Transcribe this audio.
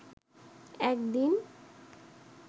একদিন